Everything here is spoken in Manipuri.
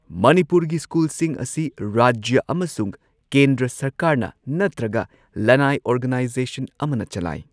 ꯃꯅꯤꯄꯨꯔꯒꯤ ꯁ꯭ꯀꯨꯜꯁꯤꯡ ꯑꯁꯤ ꯔꯥꯖ꯭ꯌ ꯑꯃꯁꯨꯡ ꯀꯦꯟꯗ꯭ꯔ ꯁꯔꯀꯥꯔꯅ ꯅꯠꯇ꯭ꯔꯒ ꯂꯅꯥꯏ ꯑꯣꯔꯒꯥꯅꯥꯏꯖꯦꯁꯟ ꯑꯃꯅ ꯆꯂꯥꯏ꯫